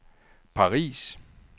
Paris